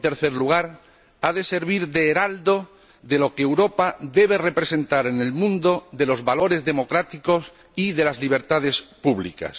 en tercer lugar, el euro ha de servir de heraldo de lo que Europa debe representar en el mundo de los valores democráticos y de las libertades públicas.